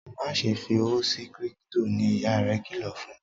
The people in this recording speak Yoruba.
Máṣe fí òwò sí crypto! ní ìyá rẹ kìlọ fún.